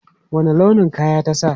Wanne launin kaya ta sa?